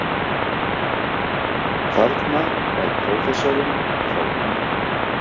Þarna er prófessorinn frá Vín.